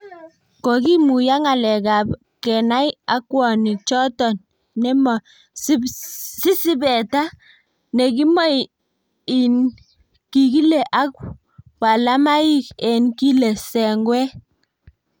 Ko kimuya ng�alekab kenai akwanik choton nemo si sipeta ne kimoi in kikile ak walamaik en kile sengwet.